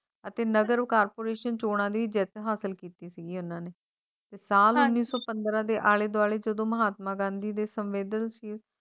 ਅਤੇ ਨਗਰ ਕਾਰਪੋਰੇਸ਼ਨ ਚੋਣਾਂ ਲਈ ਜਿੱਤ ਹਾਸਲ ਕੀਤੀ ਸੀ ਐੱਨ ਉਨ੍ਹਾਂ ਨੂੰ ਸਾਵਣ ਨੀਂ ਤੂੰ ਪੰਦਰਾਂ ਦੇ ਆਲੇ-ਦੁਆਲੇ ਜਦੋਂ ਮਹਾਤਮਾ ਗਾਂਧੀ ਦੇ ਸੰਵੇਦਨਸ਼ੀਲ